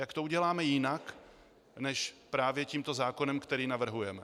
Jak to uděláme jinak, než právě tímto zákonem, který navrhujeme?